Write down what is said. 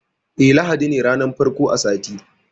Eh, ladi ne ranar farko a sati.